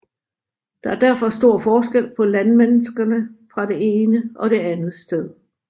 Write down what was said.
Der er derfor stor forskel på landmenneskerne fra det ene og det andet sted